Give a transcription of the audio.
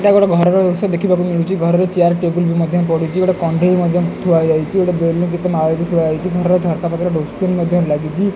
ଏଟା ଗୋଟେ ଘରର ଦୃଶ୍ୟ ଦେଖିବାକୁ ମିଳୁଚି ଘରର ଚିଆର ଟେବୁଲ ବି ମଧ୍ୟ ପଡିଚି ଗୋଟେ କଣ୍ଢେଇ ମଧ୍ୟ ଥୁଆଯାଇଚି ଗୋଟେ ବେଲୁନ କେତେ ମାଳ ବି ଥୁଆ ହେଇଚି ଘରର ଝରକା ପାଖରେ ଡୋର ସ୍କ୍ରିନ୍ ମଧ୍ୟ ଲାଗିଚି।